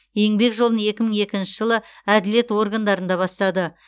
еңбек жолын екі мың екінші жылы әділет органдарында бастады